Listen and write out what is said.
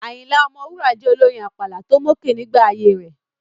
Ayinla Omowura jẹ́ olórin àpàlà tó mókè nígbà ayée rẹ̀.